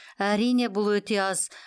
әрине бұл өте аз